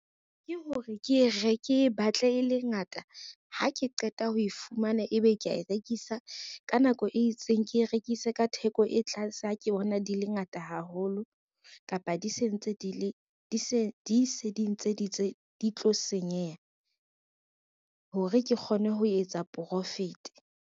Ke hore kebatle e le ngata, ha ke qeta ho e fumana ebe kea e rekisa ka nako e itseng ke e rekise ka theko e tlase, ha ke bona di le ngata ngata haholo kapa di se dintse di tlo senyeha hore ke kgone ho etsa profit.